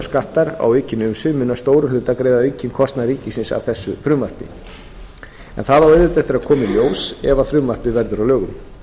skattar á aukin umsvif muni að stórum hluta greiða aukinn kostnað ríkisins af þessu frumvarpi en það á auðvitað eftir að koma í ljós ef frumvarpið verður að lögum